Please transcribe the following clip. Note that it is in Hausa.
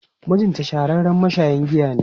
Mijinta shahararren mashayin giya ne.